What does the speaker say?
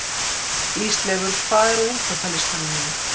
Ísleifur, hvað er á innkaupalistanum mínum?